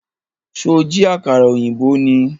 Ṣó jí àkàrà ọ̀yìnbó ni?